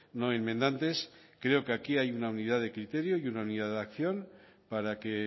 no enmendantes creo que aquí hay una unidad de criterio y una unidad de acción para que